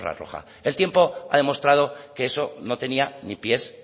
roja el tiempo ha demostrado que eso no tenía ni pies